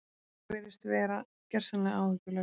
Það virðist vera gersamlega áhyggjulaust.